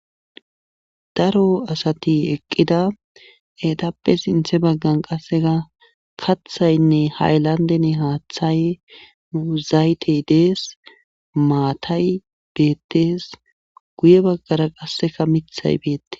Daro asati eqqida eetappe sinthe baggan qasseka kathaynne haylandeni haathay dees zaytey dees maatay beetees guye baggara qasseka mithay beete.